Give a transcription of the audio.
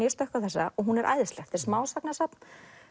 ég stökk á þessa og hún er æðisleg er smásagnasafn